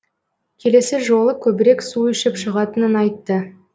келесі жолы көбірек су ішіп шығатынын айтты